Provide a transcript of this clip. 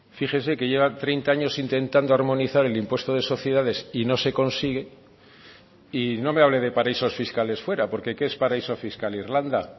fíjese que lleva treinta años intentando armonizar el impuesto de sociedades y no se consigue y no me hable de paraísos fiscales fuera porque qué es paraíso fiscal irlanda